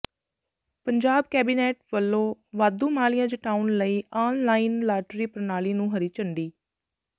Punjab cabinet ਵਲੋਂ ਵਾਧੂ ਮਾਲੀਆ ਜੁਟਾਉਣ ਲਈ ਆਨ ਲਾਈਨ ਲਾਟਰੀ ਪ੍ਰਣਾਲੀ ਨੂੰ ਹਰੀ ਝੰਡੀ